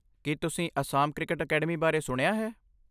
ਕੀ ਤੁਸੀਂ Assam cricket academy ਬਾਰੇ ਸੁਣਿਆ ਹੈ?